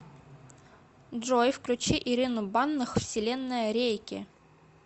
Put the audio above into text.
джой включи ирину банных вселенная рейки